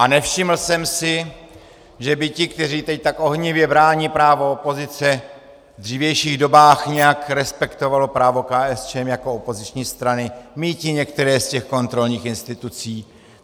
A nevšiml jsem si, že by ti, kteří teď tak ohnivě brání právo opozice, v dřívějších dobách nějak respektovali právo KSČM jako opoziční strany míti některé z těch kontrolních institucí.